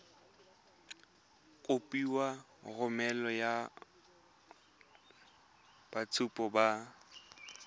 kopiwa go romela boitshupo ba